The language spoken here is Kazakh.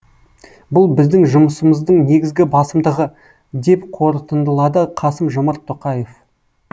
бұл біздің жұмысымыздың негізгі басымдығы деп қорытындылады қасым жомарт тоқаев